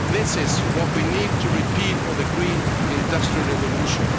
This is what we need to repeat for the green industrial revolution.